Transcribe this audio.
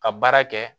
Ka baara kɛ